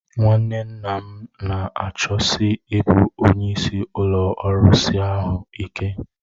Nwanne nna m na-achọsi ịbụ onye isi ụlọ arụsị ahụ ike